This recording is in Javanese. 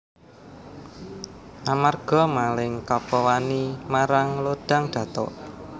Amarga Maling Kapa wani marang Lodang Datuk